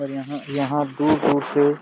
और यहां यहाँ दूर दूर से--